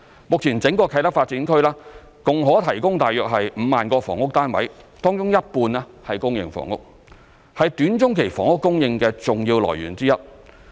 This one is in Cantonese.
目前整個啟德發展區共可提供約5萬個房屋單位，當中一半為公營房屋，是短中期房屋供應的重要來源之一。